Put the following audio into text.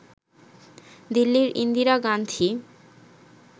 দিল্লির ইন্দিরা গান্ধি